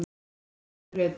Konurnar í lautinni.